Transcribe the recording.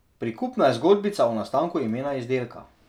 Prikupna je zgodbica o nastanku imena izdelka.